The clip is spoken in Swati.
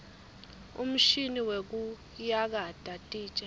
umshini wekuyakata titja